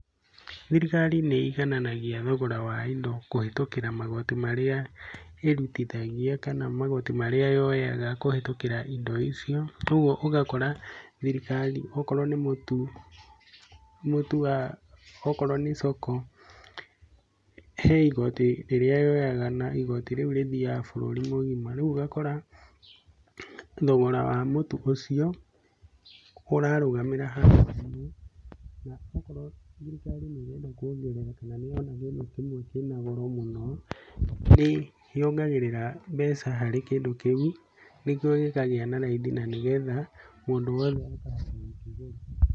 Thirikari nĩ igananagia thogora wa indo kũhĩtũkĩra magoti marĩa ĩrutithagia, kana magoti marĩa yoyaga kũhĩtũkĩra indo icio. Koguo ũgakora thirikari okorwo nĩ mũtu, mũtu wa okorwo nĩ Soko he igoti rĩrĩa yoyaga na igoti rĩu rĩthiaga bũrũri mũgima. Riu ũgakora thogora wa mũtu ũcio ũrarũgamĩra hau, na okorwo thirikari nĩ ĩrenda kuongerera kana nĩ yona kĩndũ kĩmwe kĩna goro mũno, nĩ yongagĩrĩra mbeca harĩ kĩndũ kĩu nĩguo gĩkagĩa na raithi na nĩ getha mũndũ wothe akahota gũkĩgũra.